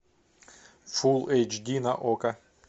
фул эйч ди на окко